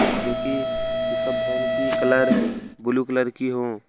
जोकि pickup van की colour blue colour की हो ।